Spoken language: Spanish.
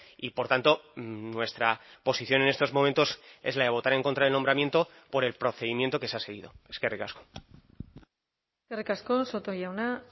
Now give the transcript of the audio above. y por tanto nuestra posición en estos momentos es la de votar en contra el nombramiento por el procedimiento que se ha seguido eskerrik asko eskerrik asko soto jauna